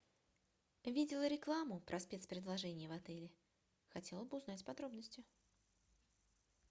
видела рекламу про спецпредложения в отеле хотела бы узнать подробности